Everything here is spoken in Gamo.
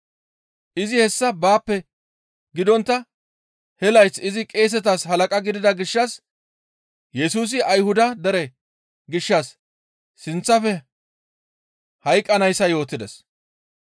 Izi hessa baappe gidontta he layth izi qeesetas halaqa gidida gishshas Yesusi Ayhuda dere gishshas sinththafe hayqqanayssa yootides.